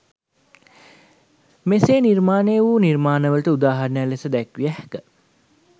මේසේ නිර්මාණය වු නිර්මාණ වලට උදාහරණ ලෙසදැක්විය හැක.